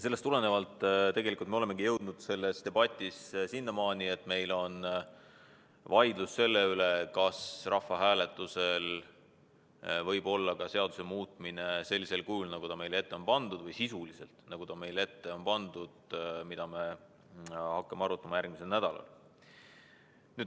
Sellest tulenevalt me olemegi selles debatis jõudnud sinnamaani, et meil on vaidlus selle üle, kas rahvahääletusel võib olla ka seaduse muutmine sellisel kujul, nagu ta meile ette on pandud – me hakkame seda arutama järgmisel nädalal.